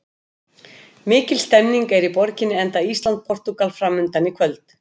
Mikil stemning er í borginni enda Ísland- Portúgal framundan í kvöld.